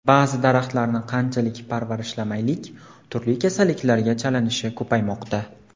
Ba’zi daraxtlarni qanchalik parvarishlamaylik, turli kasalliklarga chalinishi ko‘paymoqda.